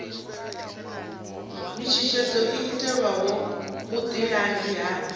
mishushedzo i itelwaho vhuḓilangi ha